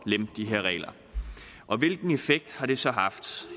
lempe de her regler hvilken effekt har det så haft